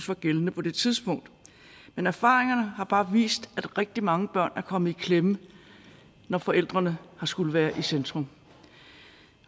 var gældende på det tidspunkt men erfaringerne har bare vist at rigtig mange børn er kommet i klemme når forældrene har skullet være i centrum